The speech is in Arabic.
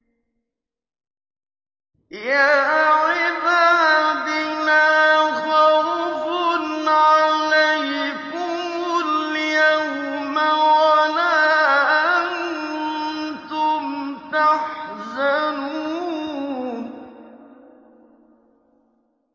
يَا عِبَادِ لَا خَوْفٌ عَلَيْكُمُ الْيَوْمَ وَلَا أَنتُمْ تَحْزَنُونَ